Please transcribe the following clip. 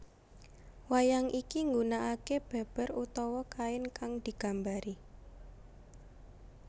Wayang iki nggunaake beber utawa kain kang digambari